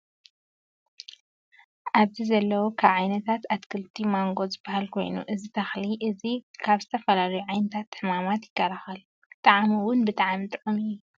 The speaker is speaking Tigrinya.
ኣብዚ ዘለው ካብ ዓይነታት ኣትክልቲማንጎ ዝበሃል ኮይኑ እዚ ተኽሊ እዚ ካብ ዝተፈላለዩ ዓይነታት ሕማማት ይከላከሉ። ጣዕሙ እውን ብጣዕሚ ጥዑም እዩ